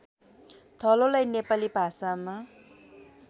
थलोलाई नेपाली भाषामा